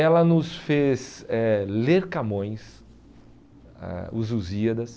Ela nos fez eh ler Camões, ah Os Lusíadas.